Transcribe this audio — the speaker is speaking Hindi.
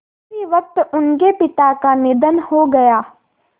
उसी वक़्त उनके पिता का निधन हो गया